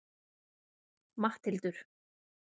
Matthildur